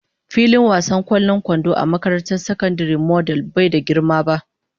Filin wasan ƙwallon kwando a makarantar sakandare model bai da girma ba.